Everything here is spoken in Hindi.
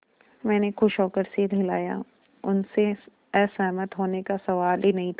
मैंने खुश होकर सिर हिलाया उनसे असहमत होने का सवाल ही नहीं था